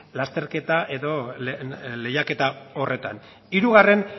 lasterketa eta lehiaketa horretan hirugarren